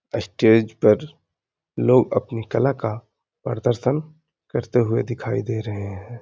अस्टेज पर लोग अपनी कला का परदर्शन करते हुए दिखाई दे रहे हैं।